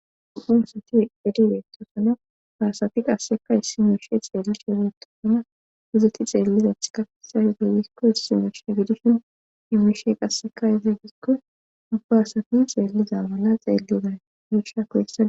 Upunsati edibeetosana faasati qasseka issi meeshe xeellishe geetosona hizeti xeellizath kafesa heteyikko issi meeshe gidishin imishe qasseka izigikko ubba asati xeelliza mala xeeliday giisha koyessaa..